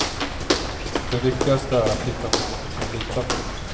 Det viktigaste är att hitta någon du kan lita på.